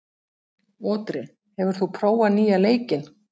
Otri, hefur þú prófað nýja leikinn?